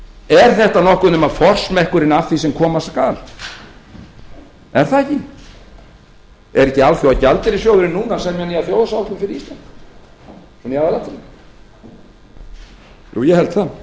er þetta nokkuð nema forsmekkurinn að því sem koma skal er það ekki er ekki alþjóðagjaldeyrissjóðurinn núna að semja nýja áætlun fyrir ísland í aðalatriðum jú ég held það